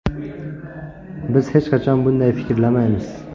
Biz hech qachon bunday fikrlamaymiz.